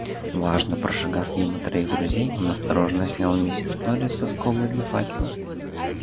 важно прошагав мимо троих друзей он осторожно снял миссис норрис со скобы для факела